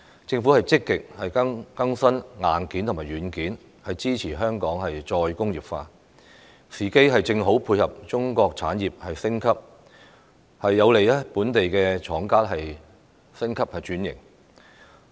政府積極更新硬件和軟件，支持香港再工業化，時機正好配合中國產業升級，有利本地廠家升級轉型。